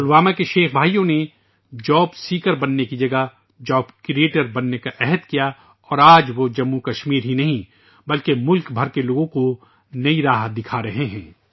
پلوامہ کے شیخ برادران نے نوکری کے متلاشی بننے کے بجائے نوکری کی تخلیق کرنے کا عہد لیا اور آج وہ نہ صرف جموں و کشمیر بلکہ ملک بھر کے لوگوں کو ایک نیا راستہ دکھا رہے ہیں